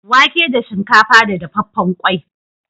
Wake da shinkafa da dafaffen ƙwai.